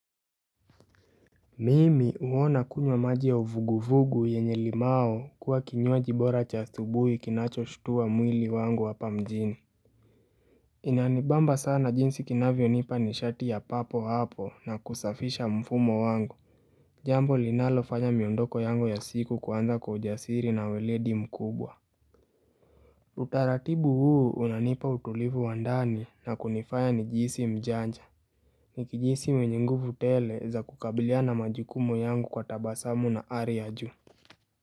Mimi huona kunywa maji ya uvuguvugu yenye limao kuwa kinywaji bora cha asubuhi kinachoshtuwa mwili wangu hapa mjini Inanibamba sana jinsi kinavyo nipa nishati ya papo hapo na kusafisha mfumo wangu Jambo linalofanya miondoko yangu ya siku kuanza kwa ujasiri na uweledi mkubwa Utaratibu huu unanipa utulivu wa ndani na kunifanya nijihisi mjanja Nikijihisi mwenye nguvu tele za kukabiliana majukumu yangu kwa tabasamu na ari ya juu.